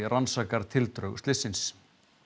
rannsakar tildrög slyssins